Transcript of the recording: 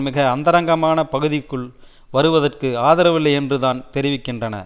மிக அந்தரங்கமான பகுதிக்குள் வருவதற்கு ஆதரவில்லை என்று தான் தெரிவிக்கின்றன